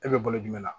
E bɛ bolo jumɛn la